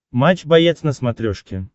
матч боец на смотрешке